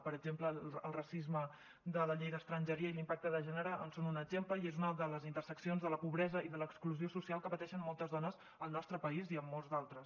per exemple el racisme de la llei d’estrangeria i l’impacte de gènere en són un exemple i és una de les interseccions de la pobresa i de l’exclusió social que pateixen moltes dones al nostre país i en molts d’altres